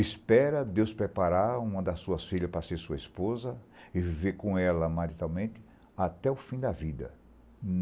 Espera Deus preparar uma das suas filhas para ser sua esposa e viver com ela matrimonialmente até o fim da vida.